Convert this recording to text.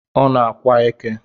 Ọ na-ákwà eke